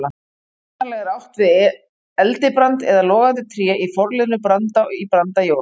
Hugsanlega er átt við eldibrand eða logandi tré í forliðnum branda- í brandajól.